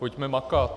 Pojďme makat.